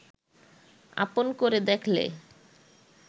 আপন করে দেখলে